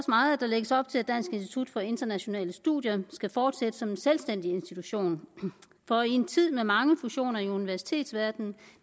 meget at der lægges op til at dansk institut for internationale studier skal fortsætte som en selvstændig institution for i en tid med mange fusioner i universitetsverdenen